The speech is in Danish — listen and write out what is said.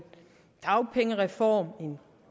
dagpengereform en